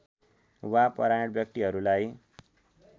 वा परायण व्यक्तिहरूलाई